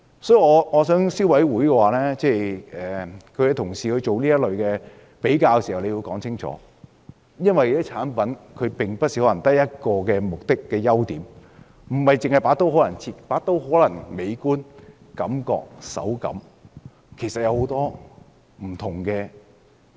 所以，我想消委會進行這類比較時要解釋清楚，因為有些產品可能不止一個目的或優點，例如某把刀可能既美觀，手感又好。